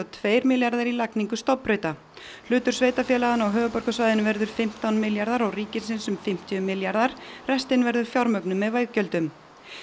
tveir milljarðar í lagningu stofnbrauta hlutur sveitarfélaganna á höfuðborgarsvæðinu verður fimmtán milljarðar og ríkisins um fimmtíu milljarðar restin verður fjármögnuð með veggjöldum